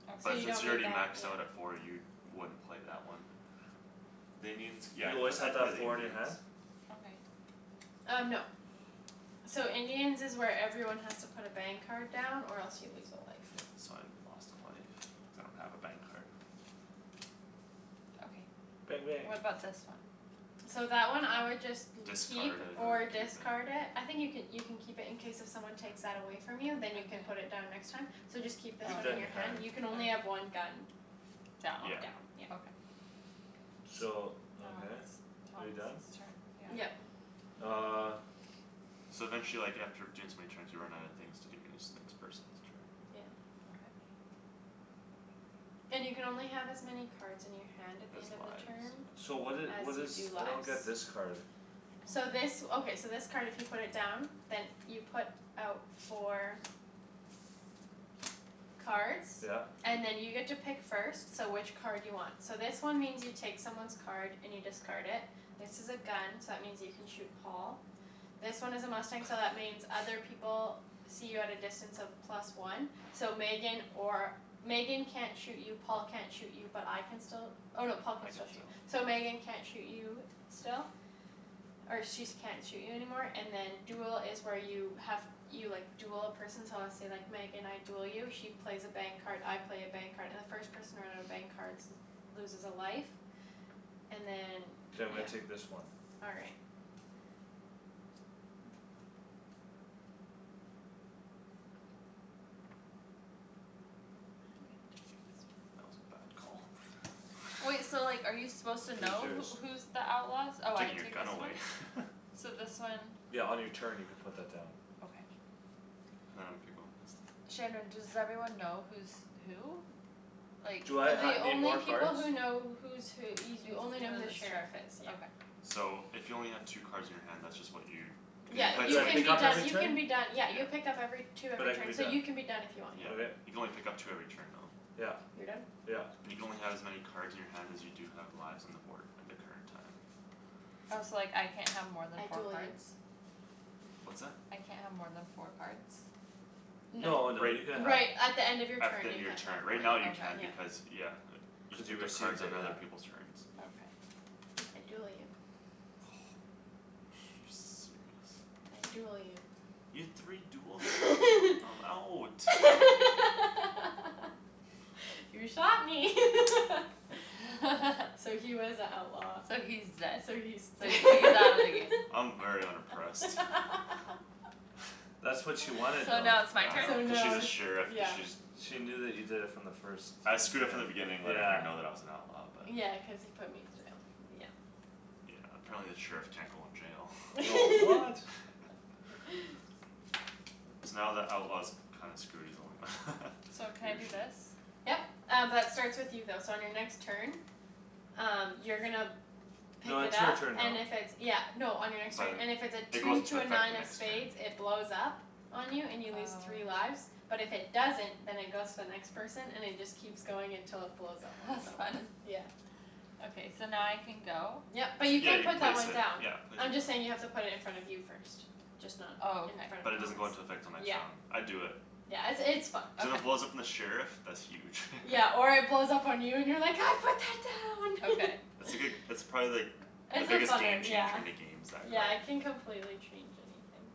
Okay. So But you since don't you're need already that, maxed yeah. out at four you wouldn't play that one. The Indians, yeah, You I'd p- always have I'd to have play the four in your Indians. hand? Okay. Um, no. So Indians is where everyone has to put a bang card down or else you lose a life. Yeah, so I lost a life cuz I don't have a bang card. Bang Okay, bang. what about this one? So that one I would just You'd keep Discard it or or use it. discard it. I think you could, you can keep it in case if someone takes that away From you then you can put Okay. it down next time. So just keep Oh, this Keep one that in in your your okay. hand. hand; you can only have one gun. Down. On Yeah. down, yeah. Okay. So, Now okay, it's are you done? Thomas's turn, yeah. Yeah. Yep. Uh. So then she, like, after doing so many turns you run out of things to do and then it's the next person's turn. Yeah. Okay. And you can only have as many cards in your hand at the Has end of the lives, turn so. So what did, As what you is, do I don't lives. get this card. So this, okay, so this card if you put it down Then you put out four Cards Yeah. And then you get to pick first, so which card do you want? So this one means you take someone's card and you discard it. This is a gun so that means you can shoot Paul. This one is a mustang so that means other people See you at a distance of plus one. So Megan or, Megan can't shoot you Paul can't shoot you but I can still Oh no, Paul can I can still shoot, still. so Megan can't shoot you still Or she's can't shoot you anymore and then duel is where you have You, like, duel a person so let's say, like, Megan I Duel you she plays a bang card, I play a bang card and the first person to run out of bang cards Loses a life And then, K, I'm yeah. gonna take this one. All right. That was a bad Wait, call. so like are you supposed to Who's know yours? who, who's The outlaws? I'm Oh, I taking your take gun this one? away. So this one Yeah, on your turn you could put that down. Okay. Now I'm gonna pick one Shandryn, does everyone know who's who? Like, Do I ha- like The need only more people cards? who know who's who y- You you only know know who the the sheriff sheriff is, is, yeah. okay. So if you only have two cards in your hand that's just what you Cuz you Yeah. And play uh it do You so I many can pick be up turns every done, you can turn? be done. Yeah, Yeah. you pick up every Two But every I can be turn so you done. can be done if you want, yeah. Yeah, Okay. you can only pick up two every turn though. Yep, You're done? yep. You can only have as many cards in your hand as you do have lives on the board end of turn time. Oh, so, like, I can't have more than I four duel you. cards? What's that? I can't have more than four cards? Y- No. No, no, you can Right have Right, at the end of your At the turn end you of your can't have turn. more Right now than, you can yeah. Okay. because, yeah. You can Cuz you pick up received cards on it, other yeah. people's turns. Mm. Okay. I duel you. You serious? I duel you. You had three duels there? I'm out. You shot me. So he was a outlaw. So he's dead. So he's So d- he, he's out of the game. I'm very unimpressed. That's what she wanted So though. now Yeah, it's my I So know, turn? cuz now she's a it's, sheriff, cuz yeah. she's, yeah. She knew that you did it from the first I screwed up from the minute. beginning letting her Yeah. know that I was an outlaw but Yeah, cuz he put me in jail, yeah. Yeah, apparently the sheriff can't go in Oh, jail. what? So now the outlaw's kinda screwed; he's the only one, So can he I or do she. this? Yep. Um b- that starts with you though so on your next turn Um you're gonna No, pick it it's her up turn now. and if it's, yeah No, on your next So turn, then and if it's a it two goes into to a effect nine the of next turn. spades it blows up On you and you lose three Oh. lives. But if it doesn't, then it goes to the next person and it just Keeps going until it blows up on That's fun. someone, yeah. So now I can go? Yep, but you Yeah, can you put that place one it. down. Yeah, place it I'm just saying you have down. to put it in front of you first. Just not Oh, in okay. front But of it doesn't Thomas. go into effect till next Yep round. I'd do it. Yeah, it's, it's fun. Cuz if it Okay. blows up on the sheriff, that's huge. Yeah, or it blows up on you and you're like, "I put that Okay. It's down!" a good, it's probably like The It's a biggest funner, game changer yeah, in the games, that yeah, it card. can complete change anything.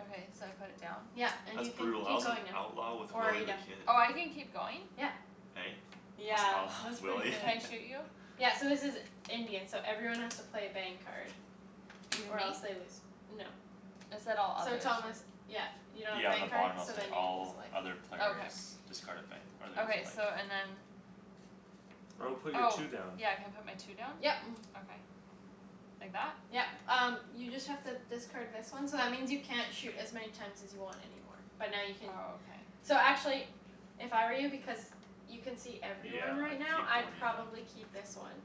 Okay, so I put it down? Yep. And That's you can brutal. I keep was an going now. outlaw with Or are Willy you the done? Kid. Oh, I can keep going? Yeah. Hey? I was an Yeah, outlaw with that's pretty Willy? Can good. I shoot you? Yeah, so this is Indian, so everyone has to play a bang card. Even Or me? else they lose, no. It said all So others. Thomas, yeah, you don't have a Yeah, on bang the card? bottom it'll So say, then you lose "All a life. other players Okay. Discard a bang or lose a Okay, so and life." then I would put your Oh, two down. yeah, can I put my two down? Yep. Okay. Like that? Yep. Um you just have to discard this one So that means you can't shoot as many times as you want anymore, but now you can Oh, okay. So actually if I were you, because You can see Yeah, everyone right I'd now, keep the I'd one you have. probably keep this one.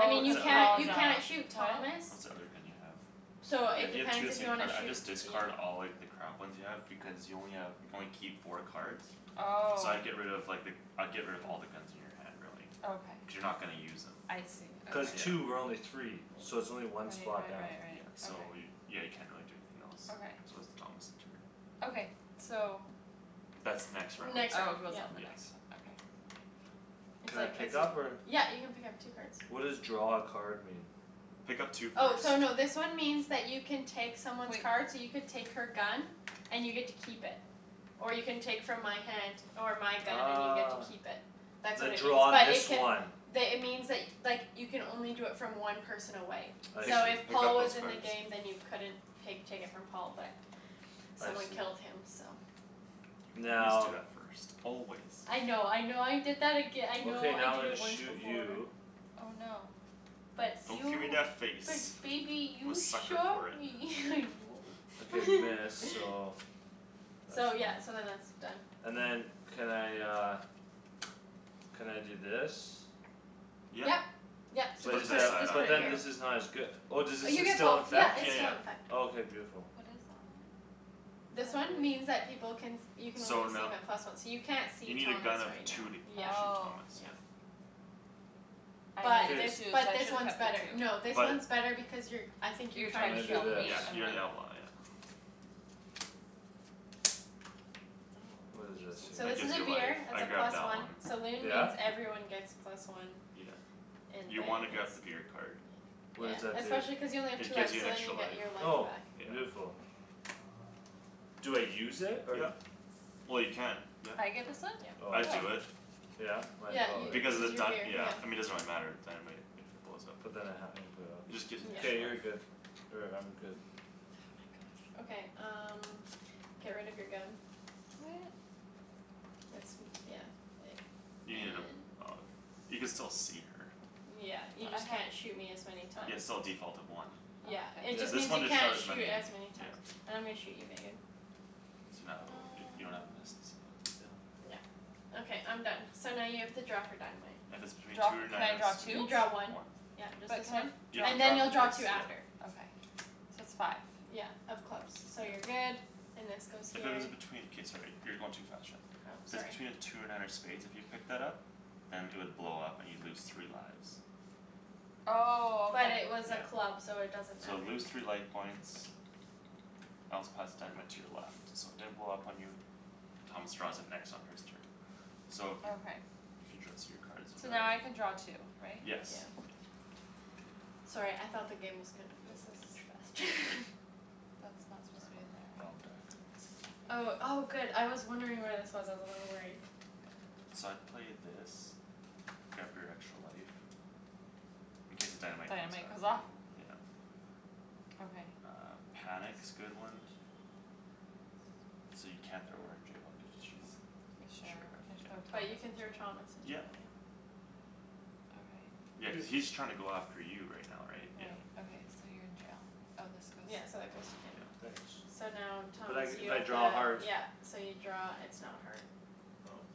I mean, What's you cuz the other can't, you thing you Paul's can't have? out. shoot Thomas What's the other thing you have? So Yeah, it you have two depends of the if you same wanna card. I'd shoot, just you know. discard all, like, the crap ones you have because you only have, you can only keep four cards. So Oh. I'd get rid of, like, the, I'd get rid of all the guns in your hand, really. Okay. Cuz you're not gonna use them. I see, okay. Cuz Yeah. two. We're only three. So it's only one Right, spot right, down. right, Yeah, right. so Okay. y- yeah, you can't really do anything else. Okay. So it's Thomas' turn. Okay, so That's next round. Oh, it Next round, goes yep. on the Yes. next one, okay. It's Can I like pick up or? yep, you can pick up two cards. What does draw a card mean? Pick up two Oh, cards. so no, this one means that you can take someone's Wait. card so you could take her gun And you get to keep it or you can take from my hand Or my gun and you get to keep it. That's The, what it means draw but it this can one. The, it means, like, like you can only do it from one person away. I Pick, So see. if pick Paul up was those in the cards. game then you couldn't pake, take it from Paul but I Someone see. killed him, so. You always do Now that first. Always. I know, I know I did that aga- I know Okay, I now I'm did gonna it once shoot before. you. Oh, no. Nice. But Don't give me you, that face. but baby, I'm a you sucker shot for it. me Okay, you. miss, so that's So fine. yeah, so then that's done. And then can I uh Can I do this? Yep. Yep, so Just But put just it is to put the it, side that, just on, put but it then here. yeah. this is not as good Oh, does Uh this is you st- get still both; in - yep, fect? it's Yeah, still yeah. in effect. Oh, k, beautiful. What is that one? This one means that people can You can only So see no- 'em at plus one. So you can't You see need a gun Thomas of right two now. to Yeah, shoot Oh. Thomas, yeah. yeah. I But K. this, needed two so I but this should have one's kept better. No, the two. this But one's better because you're I think you're You're I'm trying trying to gonna to do shoot kill this. me. me, Yeah, you're okay. the outlaw, yeah. What is this Oh, interesting. So That this here? is gives a you life, beer, it's a I'd grab plus that one. one. Saloon Yeah? means everyone gets plus one. Yeah. And You wanna bang grab the is beer card. Yeah, What does that do? especially cuz you only have two It gives lives you so an then extra you life. get your life Oh, back. Yeah. beautiful. Do I use it or? Yep. Well, you can, yep. I get this one? Yep. Oh I I'd Oh. see. do it. Yeah? Might Yeah, as well, you, right? Because of this the is your beer, dy- yeah yeah. I mean, it doesn't really matter, the dynamite If it blows up in But then there. I have emporio. It just gives an Yeah. extra K, you're life. good. Or I'm good. Okay, um get rid of your gun. What? It's m- yeah. You need a, And oh, you can still see her. Yeah, you But I just have can't shoot me as many Yeah, times. it's still a default of one. Yeah, Okay. it Yeah. just This means one you just shot can't as shoot many, as many times. yeah. And I'm gonna shoot you, Megan. So now it'll be, you don't have a miss, No. so. Yeah, okay I'm done. So now you have to draw for dynamite. If it's between Draw two fo- or can nine I draw of You two? spades. draw one. One. Yep, just But this can I one. You have draw And then you'll to draw draw for two this after. Okay, so it's five. Yeah, of clubs, so you're Yep. good. And this goes If here. it was between, k, sorry, you're going too fast, Shan. Oh, So sorry. between two or nine of spades, if you picked that up Then it would blow up and you'd lose three lives. Oh, But okay. it was a Yeah. club, so it doesn't So matter. lose three life points Else pass dynamite to your left. So it didn't blow up on you. Thomas draws it next on his turn. So if you, Okay. if you draw So now I can draw two, right? K. Yes. Yeah. Sorry, I thought the game was gonna be This over is much faster. That's I not supposed to be dunno, in there, wrong right? deck. Oh, oh, good I was wondering where this was; I was a little worried. So I'd play this. Grab your extra life. In case the dynamite comes Dynamite back goes the other off? way, yeah. Okay. Uh, panic's good one. So you can't throw her in jail because she's Sure, Sheriff, can I throw yeah. But you can throw Thomas Thomas in jail? in Yep. jail, yeah. Okay. Yeah, cuz Cuz he's trying to go after you right now, right? Yeah. Right, okay. So you're in jail. Oh, this Yeah, goes so that goes to him. Yeah. Thanks. So now, But Thomas I, you if I have to, draw a heart yeah. So you draw, it's not a heart. Oh.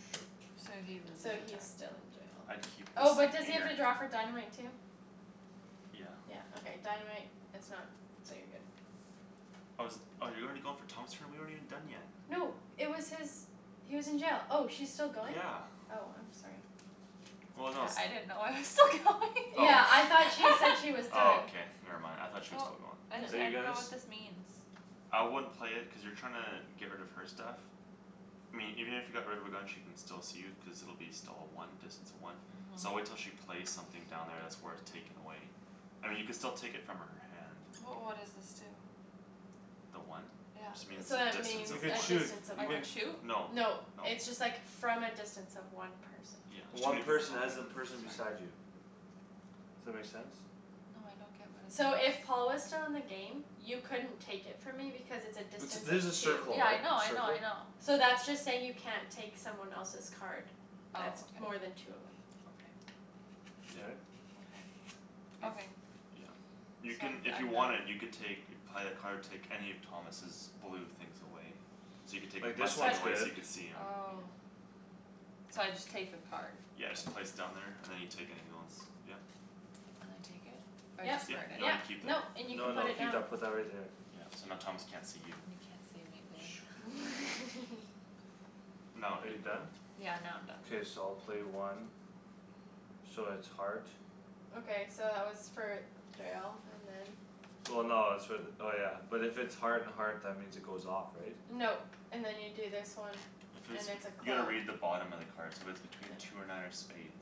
So Shoot. So he loses So a he's turn. still in jail. I'd keep this Oh, but does he in have your to draw for dynamite too? Yeah. Yeah, okay, dynamite is not, so you're good. Oh, is it, oh, you're already going for Thomas' turn? We aren't even done yet. No, it was his He was in jail; oh, she's still going? Yeah. Oh, I'm sorry. Well, no I didn't it's know I was still going. Oh. Yeah, I thought she said he was Oh, done. okay, never mind, I thought she was Well. still going. Are I, I you dunno guys what this means. I wouldn't play it cuz you're trying to get rid of her stuff. I mean, even if you got rid of her gun she can still see you cuz it'll be still a one, distance of one. So Mhm. wait till she plays something down there that's worth taking away. I mean, you could still take it from her hand. But what does this do? The one? It just Yeah. means So a that distance means You of could a one. shoot. distance of You I one. can can shoot? No, no. No, it's just, like, from a distance of one person. Yeah, there's too One many people person talking. as in Sorry. person beside you. That make sense? No, I don't get what it So does. if Paul was still in the game You couldn't take it from me because it's a It's, distance this is a of two. circle Yeah, I right? know, I know, I Circle? know. So that's just saying you can't take someone else's card That's Oh, more than okay. two away. Okay. Yeah. K. Okay. Okay. Yeah. So You can, I'm d- if you I'm wanted done. you can take You'd play a card, take any of Thomas's blue things away. So you could take his Like this mustang But one's away so good. you could see him. Oh. So I just take the card. Yeah, Okay. just place it down there and then you take any other ones. Yeah. Can I take it? Or I Yep, Yep, discard it? no you yep, keep it. nope, and you can No, put no, it keep down. that put that right there. Yeah, so now Thomas can't see you. You can't see me, babe. No, Are you you can go. done? Yeah, now I'm done. K, so I'll play one. So it's heart. Okay, so that was for jail and then Well, no, it's for the, oh, yeah, but if it's Heart and heart, that means it goes off, right? No. And then you do this one If And it's, it's a you gotta club. read the bottom of the card. So if it's between two or nine or spades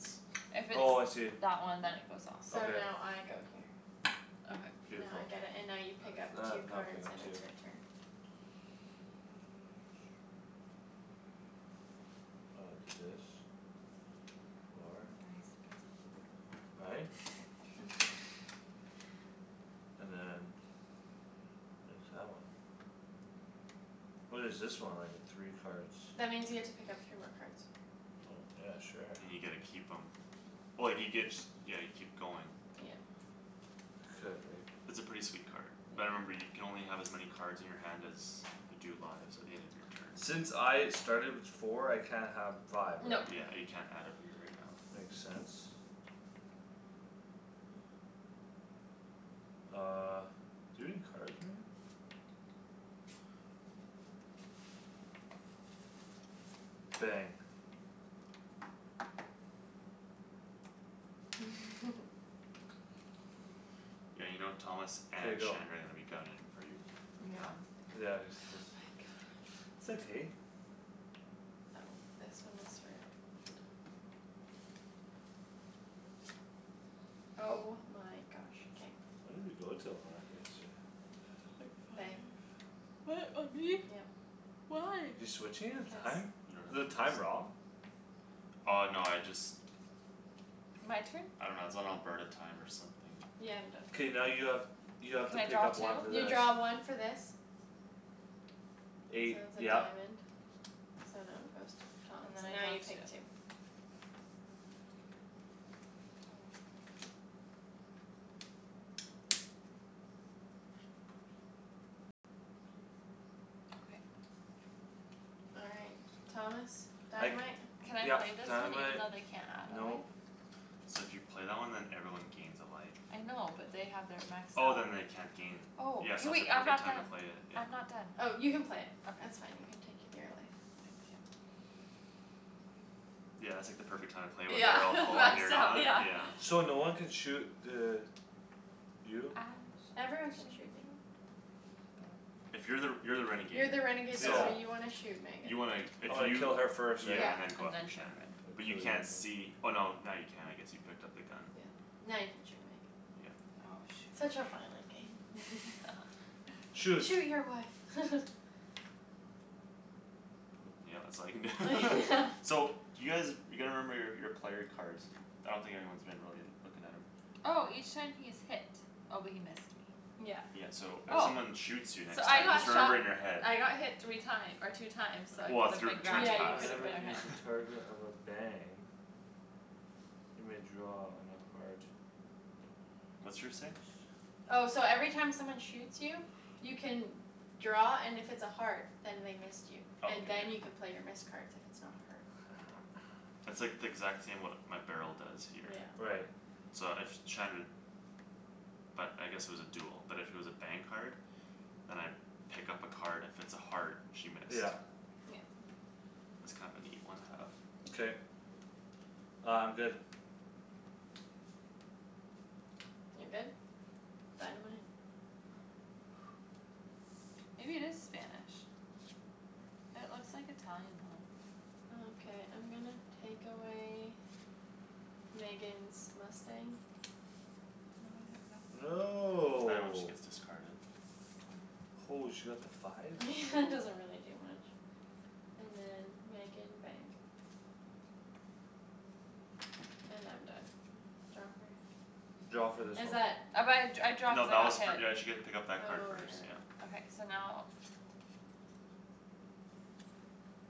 If it's Oh, I see. that one then it goes off. So Okay. now I go here. Okay. Now I Beautiful. get it and now you pick That's up that, two now I pick cards up and two. it's your turn. I'll do this. Four. Nice babe. Right? And then What is that one? What is this one? Like the three cards. That means you get to pick up three more cards. Oh, yeah, sure. And you get to keep 'em Oh, you get, yeah, you keep going. Yeah. Could, right? It's a pretty sweet card. Yeah. But remember you can only have as many Cards in your hand as you do lives At the end of your turns. Since I started with four I can't have five, right? No. Yeah, you can't add a beer right now. Makes sense. Uh, do you have any cards, Megan? Bang. Yeah, you know, Thomas K, and go. Shandryn are gonna be gunnin' for you right now. Yeah, Oh except my gosh. It's okay. Oh, this one was for Oh my gosh. K. When did we go to a live yesterday? Quick Bang. fire. What, on me? Yep. Why? You're switching his Because. time? You don't Is have the a list? time wrong? Oh, no, I just. My turn? I dunno, it's on Alberta time or something. Yeah, I'm done. K, now you have, you have to Can I pick draw up two? one for You this. draw one for this. So it Eight, was a yep. diamond, so now it goes to Thomas And then and I now draw you two. take two. Oh. Okay. All right. Thomas. I c- Dynamite. Can I yep, play this one even dynamite, though they can't add a nope. life? So if you play that one then everyone gains a life. I know, but they have their max Oh, health. then they can't gain. Oh, Yeah, hey, so it's a wait, I'm perfect not time to done. play it, yeah. I'm not done. Oh, you can play. That's Okay. fine; you can take your beer away. Thank you. Yeah, it's like the perfect time to play it when Yeah, they're all full and that's you're down, not, yeah. yeah. So no one can shoot the You? I shot Everyone can the shoot me. sheriff. But If you're the, you're the You're renegade, the renegade though Yeah. so so you want to shoot Megan. You wanna, if Oh, I you kill her first, right? Yeah. Yeah, and then go And after then I Shandryn. Shan. But you kill you can't see, oh, no, now you can, I guess; you picked up the gun. Yeah, now you can shoot me. Yeah. Oh, Such shoot. a violent game. Shoot. "Shoot your wife!" Poop. Yeah, that's all you can do. Yeah. So do you guys, you gotta remember your, your player cards. I don't think anyone's been really looking at 'em. Oh! Each time he is hit. Oh, but he missed me. Yeah. Yeah, so if Oh. someone shoots you So next I time got just remember shot in your head. I got hit three time- or two times so I Well, if could've your been turn's Yeah, grabbing. you passed, could've Whenever been, yeah. he's Okay. yeah. a target of a bang you may draw on a heart. What's yours say? Oh, so every time someone shoots you You can draw, and if it's a heart, then they missed you. Oh, And k, yep. then you can play your missed cards if it's not a heart. It's like the exact same, what my barrel does here. Yeah. Right. So if Shandryn But I guess it was a duel, but if it was a bang card Then I pick up a card, and if it's a heart, she missed. Yeah. Yep. That's kind of a neat one have. K. Uh, I'm good. You're good? Dynamite? Maybe it is Spanish. It looks like Italian, though. Okay, I'm gonna take away Megan's mustang. Oh, now I have nothing. Right when she No. gets discarded. Holy, she got the five? Doesn't really do much. And then, Megan, bang. And I'm done. Draw for? Draw Oh for but this Is one. that? I, I draw No, cuz I that was got for, hit. yeah, she get to pick up Oh, right, that card right, first, yeah. right. Okay, so now.